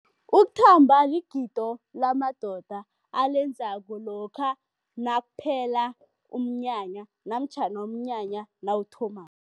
Ukuthamba ligido lamadoda alenzako lokha nakuphela umnyanya namtjhana umnyanya nawuthomako.